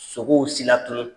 Sogow silatunu